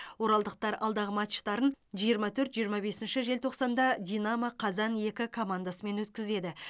оралдықтар алдағы матчтарын жиырма төрт жиырма бесінші желтоқсанда динамо қазан екі командасымен өткізеді